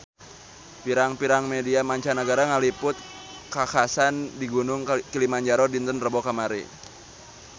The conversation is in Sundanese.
Pirang-pirang media mancanagara ngaliput kakhasan di Gunung Kilimanjaro dinten Rebo kamari